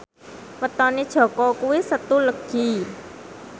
wetone Jaka kuwi Setu Legi